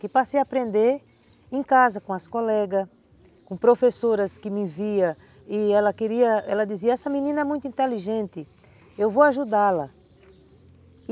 Que passei a aprender em casa com as colegas, com professoras que me via e ela queria, ela dizia, essa menina é muito inteligente, eu vou ajudá-la.